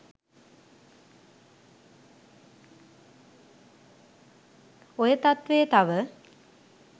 ඔය තත්ත්වය තව